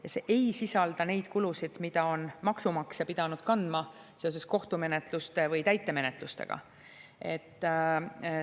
Ja see ei sisalda neid kulusid, mida on maksumaksja pidanud kandma seoses kohtumenetluste või täitemenetlustega.